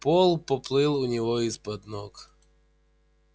пол поплыл у него из-под ног